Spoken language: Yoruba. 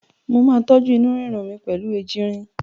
Mo máa tọ́jú inú rírun mi pẹ̀lú ejìnrìn.